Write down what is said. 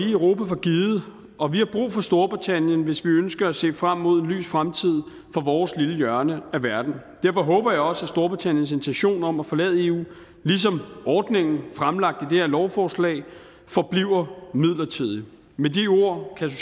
i europa for givet og vi har brug for storbritannien hvis vi ønsker at sælge frem mod en lys fremtid for vores lille hjørne af verden derfor håber jeg også at storbritanniens intention om at forlade eu ligesom ordningen fremlagt her lovforslag forbliver midlertidig med de ord kan